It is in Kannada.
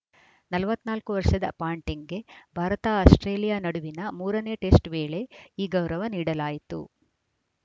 ನಲವತ್ತ್ ನಾಲ್ಕು ವರ್ಷದ ಪಾಂಟಿಂಗ್‌ಗೆ ಭಾರತಆಸ್ಪ್ರೇಲಿಯಾ ನಡುವಿನ ಮೂರ ನೇ ಟೆಸ್ಟ್‌ ವೇಳೆ ಈ ಗೌರವ ನೀಡಲಾಯಿತು